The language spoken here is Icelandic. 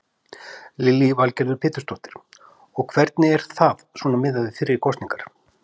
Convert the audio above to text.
Lillý Valgerður Pétursdóttir: Og hvernig er það svona miðað við fyrri kosningar?